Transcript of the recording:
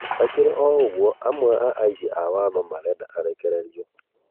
Hakĩrĩ o ũgũo amwe a aĩgi a watho makoretwo makĩenda arekererĩo